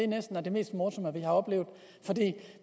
næsten er det mest morsomme vi har oplevet